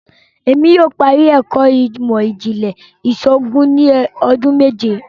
Èmi yóò parí ẹkọ imọ-jinlẹ iṣoògùn ni ọdún méje